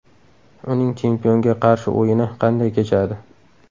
Uning chempionga qarshi o‘yini qanday kechadi?